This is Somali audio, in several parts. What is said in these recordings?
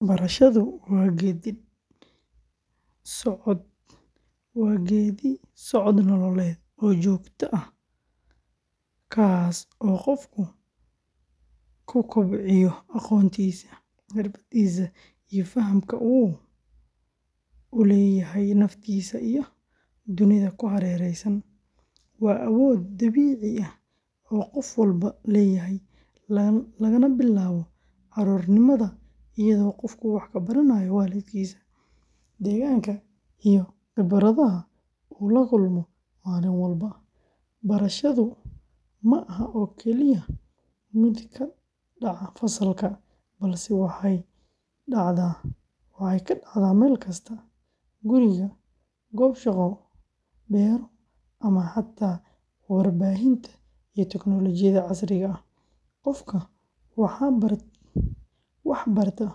Barashadu waa geeddi-socod nololeed oo joogto ah kaas oo qofku ku kobciyo aqoontiisa, xirfadiisa, iyo fahamka uu u leeyahay naftiisa iyo dunida ku hareeraysan. Waa awood dabiici ah oo qof walba leeyahay, lagana bilaabo carruurnimada iyadoo qofku wax ka baranayo waalidkiis, deegaanka, iyo khibradaha uu la kulmo maalin walba. Barashadu ma aha oo kaliya mid ka dhaca fasalka, balse waxay dhacdaa meel kastaguri, goob shaqo, beero, ama xataa warbaahinta iyo tiknoolajiyadda casriga ah. Qofka wax barta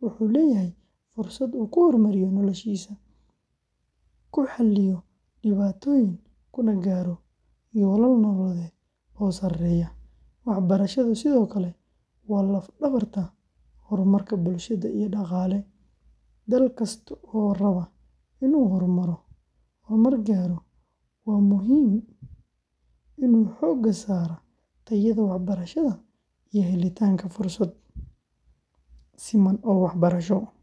wuxuu leeyahay fursad uu ku horumariyo noloshiisa, ku xalliyo dhibaatooyin, kuna gaaro yoolal nololeed oo sarreeya. Waxbarashadu sidoo kale waa laf-dhabarta horumarka bulsho iyo dhaqaale. Dal kasta oo raba inuu horumar gaaro waa inuu xoogga saaraa tayada waxbarashada iyo helitaanka fursado siman oo waxbarasho.